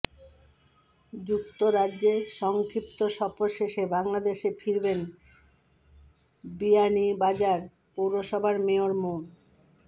যুক্তরাজ্যে সংক্ষিপ্ত সফর শেষে বাংলাদেশে ফিরবেন বিয়ানীবাজার পৌরসভার মেয়র মো